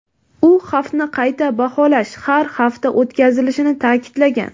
U xavfni qayta baholash har hafta o‘tkazilishini ta’kidlagan.